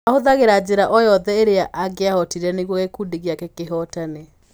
Aahũthagĩra njĩra o yothe ĩrĩa angĩahotire nĩguo gĩkundi gĩake kĩhootana.